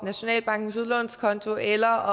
nationalbankens udlånskonto eller